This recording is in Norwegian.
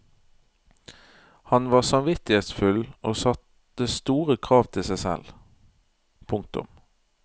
Han var samvittighetsfull og satte store krav til seg selv. punktum